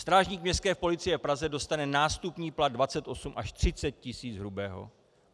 Strážník Městské policie v Praze dostane nástupní plat 28 až 30 tis. hrubého.